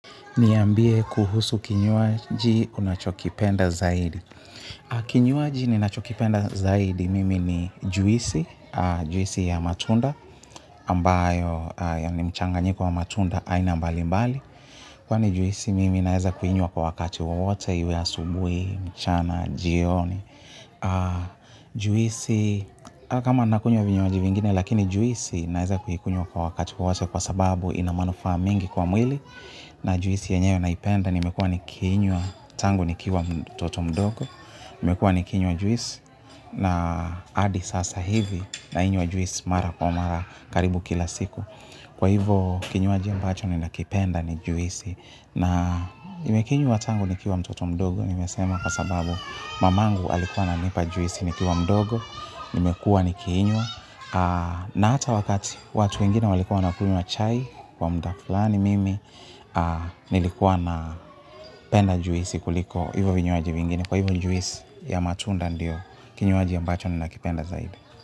Niambie kuhusu kinywaji unachokipenda zaidi. Kinywaji ninachokipenda zaidi mimi ni juisi, juisi ya matunda, ambayo ya ni mchanganyiko wa matunda aina mbali mbali. Kwani juisi mimi naeza kuinywa kwa wakati wowote, iwe asubuhi, mchana, jioni. Juisi, kama nakunywa vinywaji vingine, lakini juisi naeza kuikunywa kwa wakati wowote kwa sababu ina manufaa mengi kwa mwili. Na juisi yenyewe naipenda nimekuwa nikinywa tangu nikiwa mtoto mdogo nimekuwa nikinywa juisi na hadi sasa hivi nainywa juisi mara kwa mara karibu kila siku kwa hivo kinywaji ambacho ninakipenda ni juisi na nimekinywa tangu nikiwa mtoto mdogo nimesema kwa sababu mamangu alikuwa ananipa juisi nikiwa mdogo nimekuwa nikiinywa na hata wakati watu wengine walikuwa wanakunywa chai kwa mda fulani mimi nilikuwa na penda juisi kuliko hivyo vinywaji vingine kwa hivyo juisi ya matunda ndio kinywaji ambacho nina kipenda zaidi.